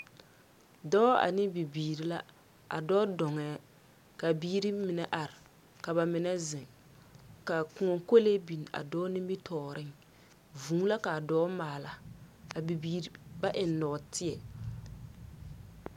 Dͻͻ ane bibiiri la, a dͻͻ dͻŋԑԑ, kaa biiri mine are, ka ba mine zeŋ. Ka kõͻ kolee biŋ a dͻͻ nimitͻͻreŋ. Vũũ la ka a dͻͻ maala. A bibiiri ba eŋ nͻͻteԑ.